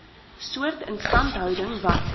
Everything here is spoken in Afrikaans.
soort instandhouding wat